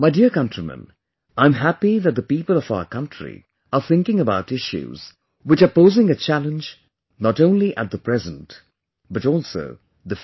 My dear countrymen, I am happy that the people of our country are thinking about issues, which are posing a challenge not only at the present but also the future